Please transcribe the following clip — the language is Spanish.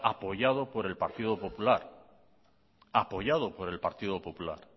apoyado por el partido popular